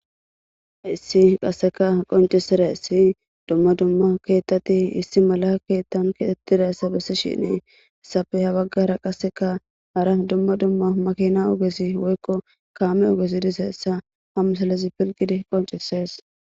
Issi qasseka qoncisera issi dumma dumma keettati issi mala keettan keetettira essa bessi shinee essafe ha baggara qasseka hara dumma dumma makina ogesi woykko kaame ogesi dise essa hamsalezi pilgidi qoncisees.